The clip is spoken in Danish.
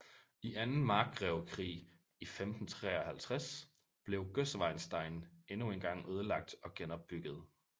I Anden Markgrevekrig i 1553 blev Gößweinstein endnu en gang ødelagt og genopbygget